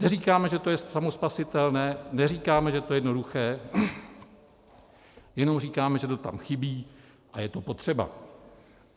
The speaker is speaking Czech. Neříkáme, že to je samospasitelné, neříkáme, že to je jednoduché, jenom říkáme, že to tam chybí a je to potřeba.